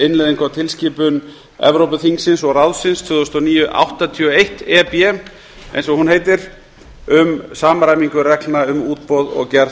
innleiðingu á tilskipun evrópuþingsins og ráðsins tvö þúsund og níu áttatíu og eitt e b eins og hún heitir um samræmingu reglna um útboð og gerð